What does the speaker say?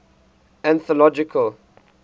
anthological